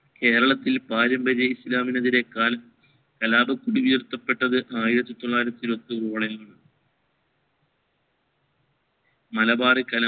കേരത്തിൽ പരമ്പരയായി ഇസ്ലാമിന് എതിരേയായി കലാപം കൊടിയിരുത്തപ്പെട്ടത് ആയിരത്തി തൊള്ളായിരത്തി ങ്ങളിലാണ് മലബാറി കലാ